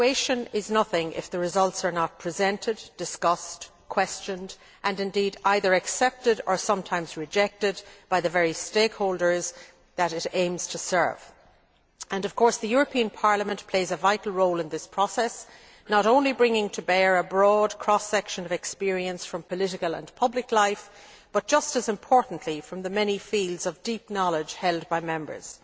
Evaluation is nothing if the results are not presented, discussed, questioned, and indeed either accepted or sometimes rejected, by the very stakeholders that it aims to serve, and, of course, Parliament plays a vital role in this process, not only bringing to bear a broad cross section of experience from political and public life but, just as importantly, from the many fields of deep knowledge held by Members.